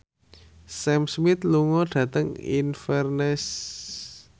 Sam Smith lunga dhateng Inverness